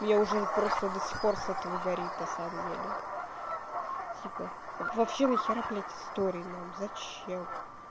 меня уже просто до сих пор с этого горит на самом деле типа вообще нахера блядь истории нам зачем